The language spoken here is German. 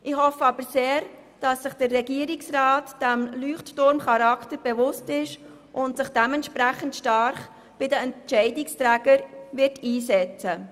Ich hoffe aber sehr, dass sich der Regierungsrat dieses Leuchtturmcharakters bewusst ist und sich entsprechend stark bei den Entscheidungsträgern einsetzen wird.